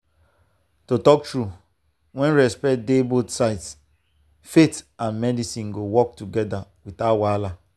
to talk true when respect dey both sides faith and medicine go work together without wahala.